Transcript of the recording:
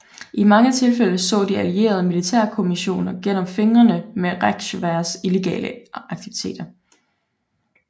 I mange tilfælde så de allierede militærkommissioner gennem fingrene med Reichswehrs illegale aktiviteter